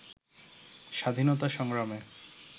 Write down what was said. স্বাধীনতা সংগ্রামে